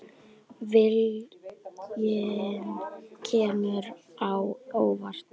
Viljinn kemur á óvart.